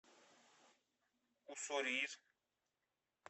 уссурийск